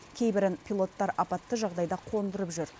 кейбірін пилоттар апатты жағдайда қондырып жүр